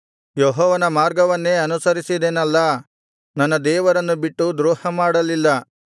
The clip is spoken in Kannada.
ಯೆಹೋವನ ಮಾರ್ಗವನ್ನೇ ಅನುಸರಿಸಿದೆನಲ್ಲಾ ನನ್ನ ದೇವರನ್ನು ಬಿಟ್ಟು ದ್ರೋಹ ಮಾಡಲಿಲ್ಲ